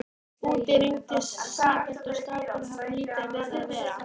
Úti rigndi sífellt og strákarnir höfðu lítið við að vera.